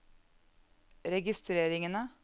registreringene